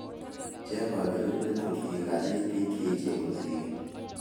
Cheng kaberuret ngikasiit bik cheechen kosirin